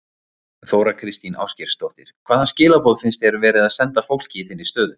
Þóra Kristín Ásgeirsdóttir: Hvaða skilaboð finnst þér verið að senda fólki í þinni stöðu?